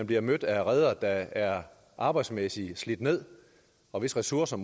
bliver mødt af redere der er arbejdsmæssigt slidt ned og hvis ressourcer